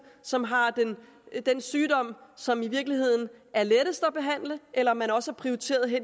som har den sygdom som i virkeligheden er lettest at behandle eller om man også prioriterer